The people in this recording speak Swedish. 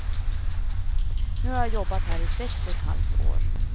Nu har jag jobbat här i sex och ett halvt år.